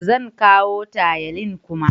Zan kawo tayalin kuma?